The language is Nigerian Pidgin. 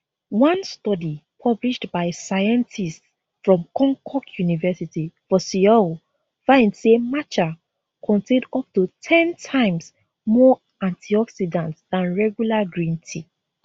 one study published by scientists from konkuk university for seoul find say matcha contain up to ten times more antioxidants dan regular green tea